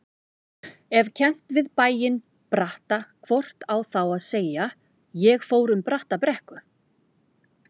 Ef kennt við bæinn Bratta hvort á þá að segja: ég fór um Brattabrekku.